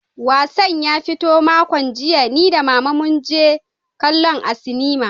Wassan ya fito makon jiya, ni da Mama mun je kallonsa a sinima.